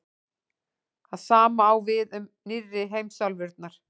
það sama á við um „nýrri“ heimsálfurnar